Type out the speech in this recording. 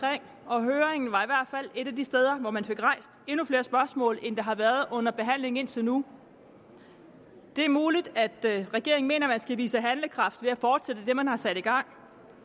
og høringen var i hvert fald et af de steder hvor man fik rejst endnu flere spørgsmål end der har været under behandlingen indtil nu det er muligt at regeringen mener at man skal vise handlekraft ved at fortsætte det man har sat i gang